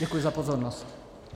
Děkuji za pozornost.